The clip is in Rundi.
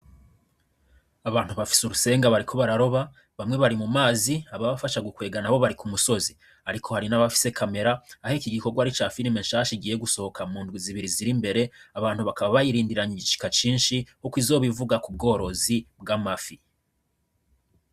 Abantu bafise urusenga bariko bararoba bamwe bari mu mazi ababafasha gukwega nabo bari ku musozi ariko hari nabafise camera aho ikigikorwa ari icafirime shasha igiye gusohoka mundwi zibiri ziri imbere abantu bakaba bayirindiranye igishika cishi kuko izoba ivuga ku bworozi bw'amafi.